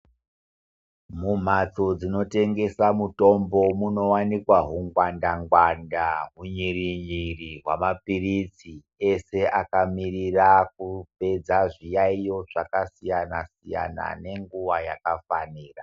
Mumhatso dzino tengesa mutombo muno wanikwa hungwanda ngwanda hunyere nyere hwamapirisi ese akamirira kupedza zviyayiyo zvakasiyana siyana nenguwa yakafanira.